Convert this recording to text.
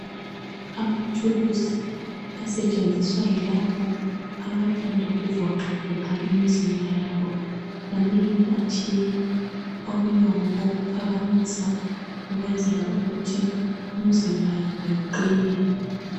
Amathulusi asetshenziswa yilabo abathanda ukuvoxavoxa imizimba yabo. Manengi atshiyene. Okunye ngokokuphakamisa ukwenzela ukuthi imzimba yabo iqine